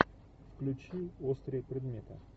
включи острые предметы